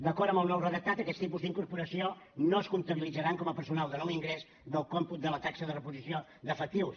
d’acord amb el nou redactat aquests tipus d’incorporacions no es comptabilitzaran com a personal de nou ingrés del còmput de la taxa de reposició d’efectius